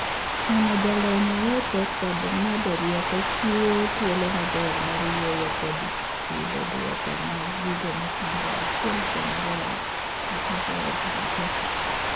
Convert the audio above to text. Neno jalony e hocho kod ng'ado rieko chiwo thuolo maber mar wuoyo kod yudo duoko mag gigo machando achiel kuom joot kata joot duto.